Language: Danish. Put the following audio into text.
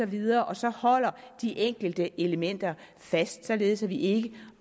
videre og så holder de enkelte elementer fast således at vi ikke